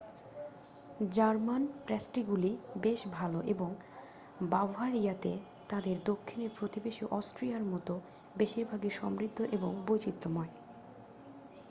German প্যাস্ট্রিগুলি বেশ ভাল এবং বাভারিয়াতে তাদের দক্ষিণের প্রতিবেশী অস্ট্রিয়ার মতো বেশিরভাগই সমৃদ্ধ এবং বৈচিত্র্যময়